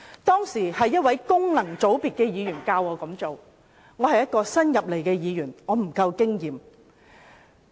當時一位功能界別的議員教我這樣做，因我是新加入議會，沒有足夠經驗。